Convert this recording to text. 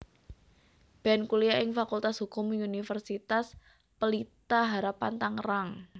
Ben kuliah ing Fakultas Hukum Universitas Pelita Harapan Tangerang